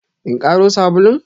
In karo sabulun?